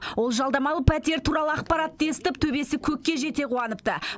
ол жалдамалы пәтер туралы ақпаратты естіп төбесі көкке жете қуаныпты